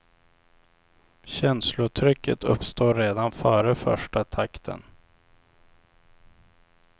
Känslotrycket uppstår redan före första takten.